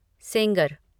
Sengar